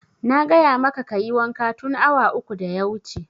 Na gaya maka kayi wanka tun awa uku da ya wuce!